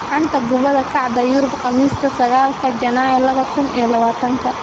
Xanta Kubadda Cagta Yurub Khamiista sagaalka janaayo laba kuun iyo labatanka: Cavani, Diop, Verona, De Ligt, Zaha